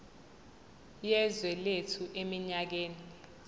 yezwe lethu eminyakeni